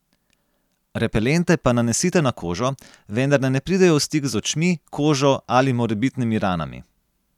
Repelente pa nanesite na kožo, vendar naj ne pridejo v stik z očmi, kožo ali morebitnimi ranami.